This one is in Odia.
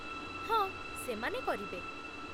ହଁ, ସେମାନେ କରିବେ